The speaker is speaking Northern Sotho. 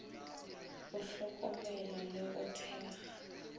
go hlokomela le go thekga